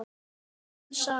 Sönn saga.